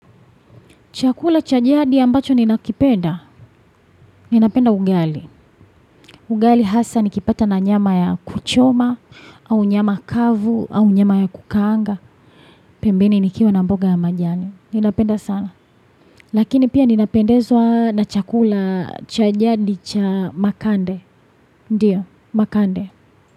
Chakula cha jadi ambacho ninakipenda, ninapenda ugali. Ugali hasa nikipata na nyama ya kuchoma, au nyama kavu, au nyama ya kukaanga. Pembeni nikiwa na mboga ya majani. Ninapenda sana. Lakini pia ninapendezwa na chakula cha jadi cha makande. Ndiyo, makande.